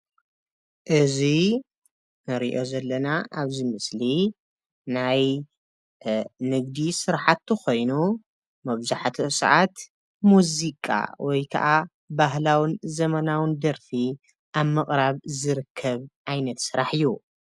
እዚ ንሪኦ ዘለና ኣብዚ ምስሊ ናይ ንግዲ ስራሕቲ ኮይኑ መብዛሕትኡ ሰዓት ሙዚቃ ወይ ከዓ ባህላውን ዘመናውን ደርፊ ኣብ ምቕራብ ዝርከብ ዓይነት ስራሕ እዩ፡፡